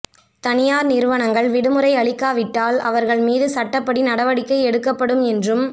தனியார் நிறுவனங்கள் விடுமுறை அளிக்காவிட்டால் அவர்கள் மீது சட்டப்படி நடவடிக்கை எடுக்கப்படும் என்றும்